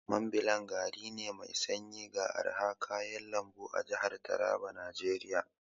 Mambila gari ne mai sanyi ga arhan kayan lambu a jahar Taraban Najeriya.